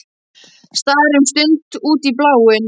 Starir um stund út í bláinn.